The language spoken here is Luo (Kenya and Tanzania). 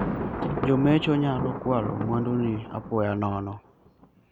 Jomecho nyalo kwalo mwanduni apoya nono.